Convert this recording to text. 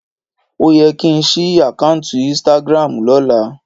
Ó yẹ kí ń ṣí àkáùntì Instagram lọ́la